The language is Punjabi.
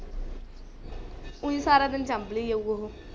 ਊਈ ਸਾਰਾ ਦਿਨ ਚਾਬਲੀ ਜਾਊ ਉਹ।